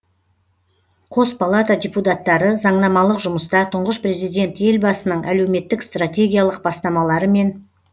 қос палата депутаттары заңнамалық жұмыста тұңғыш президент елбасының әлеуметтік стратегиялық бастамалары мен